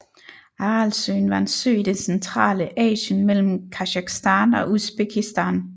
Aralsøen var en sø i det centrale Asien mellem Kasakhstan og Usbekistan